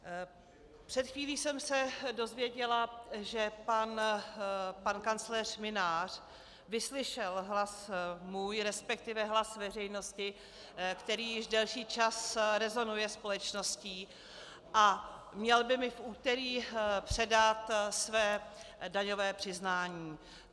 Před chvílí jsem se dozvěděla, že pan kancléř Mynář vyslyšel hlas můj, respektive hlas veřejnosti, který již delší čas rezonuje společností, a měl by mi v úterý předat své daňové přiznání.